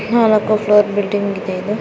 ನಾಲ್ಕು ಫ್ಲೋರಿನ ಬಿಲ್ಡಿಂಗ್ ಇದೆ ಇದೊಂದು.